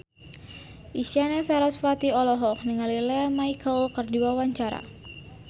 Isyana Sarasvati olohok ningali Lea Michele keur diwawancara